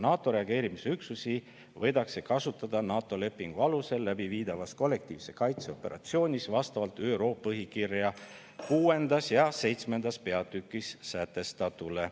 NATO reageerimisüksusi võidakse kasutada NATO lepingu alusel läbi viidavas kollektiivse kaitse operatsioonis vastavalt ÜRO põhikirja 6. ja 7. peatükis sätestatule.